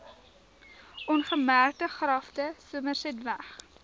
ongemerkte grafte somersetweg